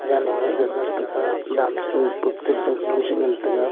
tale nap e ngan taga dam chale pouh chong ta ngan taiga.